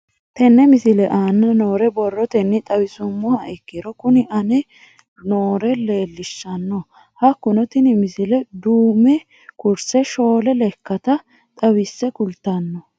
Tenne misile aana noore borrotenni xawisummoha ikirro kunni aane noore leelishano. Hakunno tinni misile duume kurse shoole lekkata xawise kulitanno.